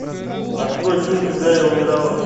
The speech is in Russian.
открой фильм когда я умирала